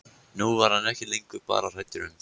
Nú var hann ekki lengur bara hræddur um